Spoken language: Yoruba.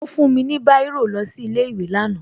Ó fún mi ní Báírò lọ sí ilé ìwé lánàá